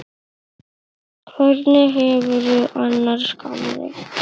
Hvernig hefurðu það annars, gamli?